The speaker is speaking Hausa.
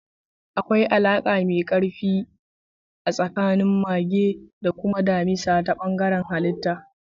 Akwai alaƙa mai ƙarfi a tsakanin mage da kuma damisa ta bangaren halitta.